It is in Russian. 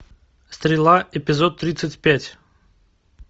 стрела эпизод тридцать пять